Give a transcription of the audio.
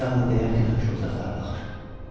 Atam bunu deyərkən həmişə uzaqlara baxır.